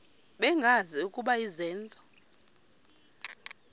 bengazi ukuba izenzo